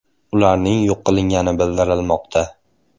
Ularning yo‘q qilingani bildirilmoqda.